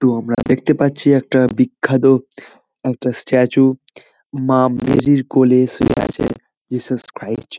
তো আমরা দেখতে পাচ্ছি একটা বিখ্যাত একটা স্ট্যাচু মা মেরির কোলে শুয়ে আছে জিসাস ক্রাইস্ট ।